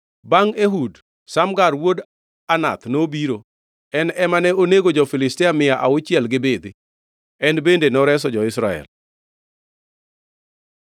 Bangʼ Ehud, Shamgar wuod Anath nobiro, en ema ne onego jo-Filistia mia auchiel gi bidhi. En bende noreso jo-Israel.